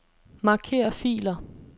Marker filer.